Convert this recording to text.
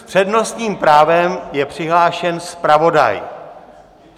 S přednostním právem je přihlášen zpravodaj!